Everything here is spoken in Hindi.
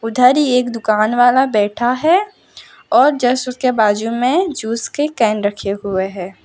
इधर ही एक दुकान वाला बैठा है और जस्ट उसके बाजू में जूस के केन रखे हुए हैं।